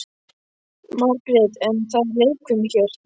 Margrét: En það er leikfimi hér.